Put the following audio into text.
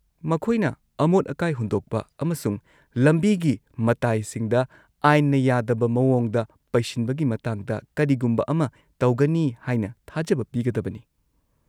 -ꯃꯈꯣꯏꯅ ꯑꯃꯣꯠ-ꯑꯀꯥꯏ ꯍꯨꯟꯗꯣꯛꯄ ꯑꯃꯁꯨꯡ ꯂꯝꯕꯤꯒꯤ ꯃꯇꯥꯏꯁꯤꯡꯗ ꯑꯥꯏꯟꯅ ꯌꯥꯗꯕ ꯃꯑꯣꯡꯗ ꯄꯩꯁꯤꯟꯕꯒꯤ ꯃꯇꯥꯡꯗ ꯀꯔꯤꯒꯨꯝꯕ ꯑꯃ ꯇꯧꯒꯅꯤ ꯍꯥꯏꯅ ꯊꯥꯖꯕ ꯄꯤꯒꯗꯕꯅꯤ꯫